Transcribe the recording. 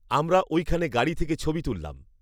আমরা ঐখানে গাড়ি থেকে ছবি তুললাম